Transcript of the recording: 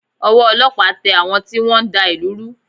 Ọwọ́ ọlọ́pàá tẹ àwọn tí wọ́n ń da ìlú rú